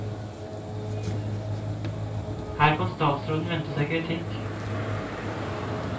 Her kan statsråden vente seg kritikk.